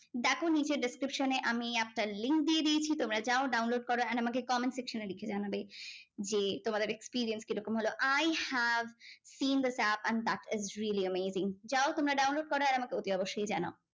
দেখো নীচের description এ আমি app টার link দিয়ে দিয়েছি তোমরা যাও download করো and আমাকে comment section এ লিখে জানাবে যে তোমাদের experience কীরকম হলো I have seen this app and that is really amazing যাও তোমরা download কারো আর আমাকে অবশ্যই জানাও